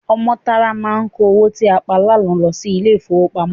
Ọmọ́tárá máa kó owó tí a pa lánàá lọ ilé-ìfowópamọ́.